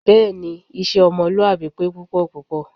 Bẹ́ẹ̀ni. Iṣẹ́ ọmọlúwàbí pé púpọ̀púpọ̀